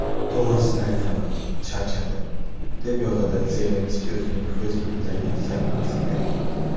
To‘g‘risini aytaman charchadim”, deb yozadi Zelenskiy o‘zining Facebook’dagi sahifasiga.